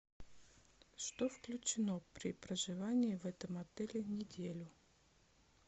что включено при проживании в этом отеле неделю